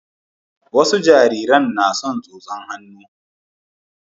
wasa jaririn na son tsotsan hannu